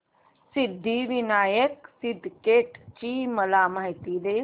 सिद्धिविनायक सिद्धटेक ची मला माहिती दे